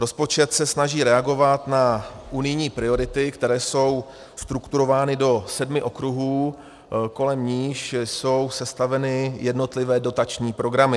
Rozpočet se snaží reagovat na unijní priority, které jsou strukturovány do sedmi okruhů, kolem nichž jsou sestaveny jednotlivé dotační programy.